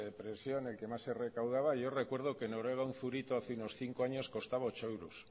presiona y el que más se recaudaba yo recuerdo que noruega un zurito hace unos cinco años costaba ocho euros